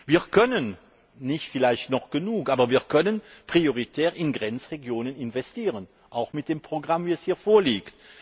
Wir können vielleicht noch nicht genug, aber wir können prioritär in Grenzregionen investieren, auch mit dem Programm, wie es hier vorliegt.